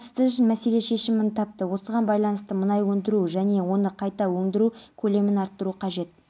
естеріңізге салсақ қайрат жамалиев екі жыл бұрын жылға сотталған еді дауға себеп болған астаналық бизнесменнің ерке